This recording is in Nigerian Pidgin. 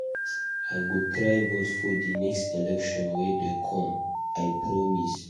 I go try vote for the next election wey dey come. I promise.